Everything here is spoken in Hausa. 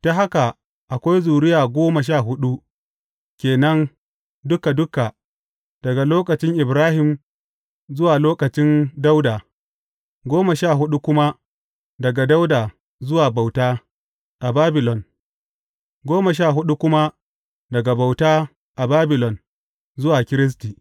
Ta haka akwai zuriya goma sha huɗu ke nan duka duka daga lokacin Ibrahim zuwa lokacin Dawuda, goma sha huɗu kuma daga Dawuda zuwa bauta a Babilon, goma sha huɗu kuma daga bauta a Babilon zuwa Kiristi.